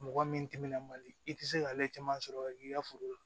Mɔgɔ min timinan man di i tɛ se k'ale caman sɔrɔ k'i ka foro la